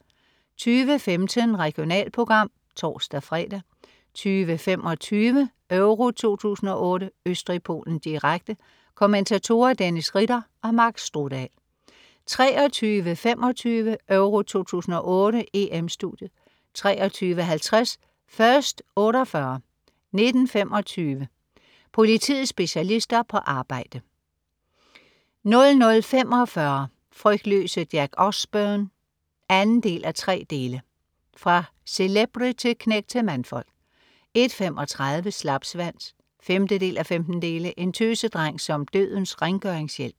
20.15 Regionalprogram (tors-fre) 20.25 EURO 2008: Østrig-Polen, direkte. Kommentatorer: Dennis Ritter og Mark Strudal 23.25 EURO 2008: EM-Studiet 23.50 First 48 19:25. Politiets specialister på arbejde 00.45 Frygtløse Jack Osbourne 2:3. Fra celebrity-knægt til mandfolk 01.35 Slapsvans 5:15. En tøsedreng som dødens rengøringshjælp